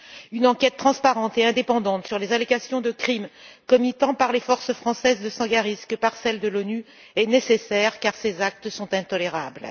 Une enquête transparente et indépendante sur les allégations de crimes commis tant par les forces françaises de Sangaris que par celles de l'ONU est nécessaire car ces actes sont intolérables.